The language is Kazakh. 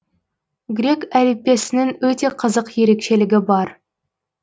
грек әліппесінің өте қызық ерекшелігі бар